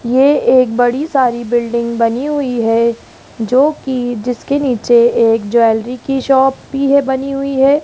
ये एक बड़ी सारी बिल्डिंग बनी हुई है जो कि जिसके नीचे एक ज्वेलरी की शॉप भी है बनी हुई है।